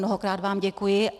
Mnohokrát vám děkuji.